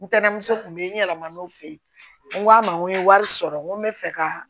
Ntɛnɛnmuso tun be yen n yɛlɛmana n'u fe yen n ko a ma n ko n ye wari sɔrɔ n ko n bɛ fɛ ka